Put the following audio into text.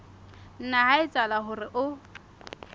nna ha etsahala hore o